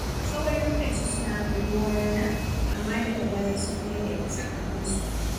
Tsawon lokaci suna kai ruwa rana, amma daga baya sun daidaita tsakaninsu.